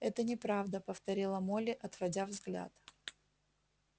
это неправда повторила молли отводя взгляд